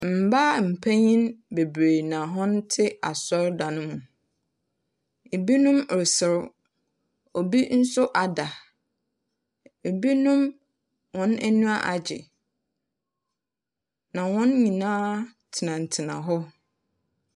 Mbaa mpenyin bebree na wɔte asɔrdan no mu. Ebinom reserew. Obi nso ada. Binom wɔn anyiwa agye. Na hɔn nyinaa tenatena hɔ.